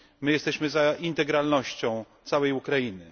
Jesteśmy za integralnością całej Ukrainy.